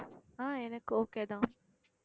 ஆஹ் எனக்கு okay தான்